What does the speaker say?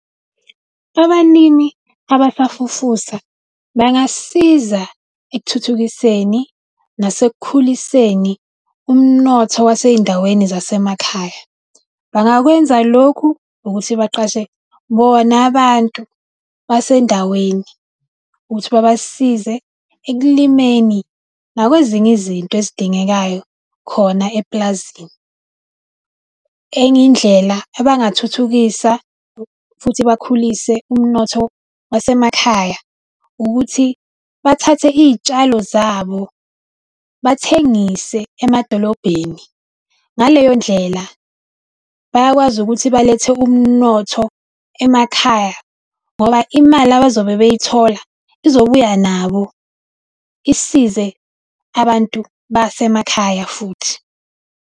Abalimi abasafufusa bangasiza ekuthuthukiseni nasekukhuliseni umnotho wasey'ndaweni zasemakhaya. Bangakwenza lokhu ngokuthi baqashe bona abantu basendaweni ukuthi babasize ekulimeni nakwezinye izinto ezidingekayo khona epulazini. Enye indlela abangathuthukisa futhi bakhulise umnotho wasemakhaya, ukuthi bathathe iy'tshalo zabo bathengise emadolobheni. Ngaleyo ndlela, bayakwazi ukuthi balethe umnotho emakhaya ngoba imali abazobe beyithola, izobuya nabo isize abantu basemakhaya futhi.